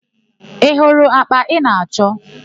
I hụrụ àkpà ị na-achọ?